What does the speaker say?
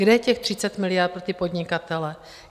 Kde je těch 30 miliard pro ty podnikatele?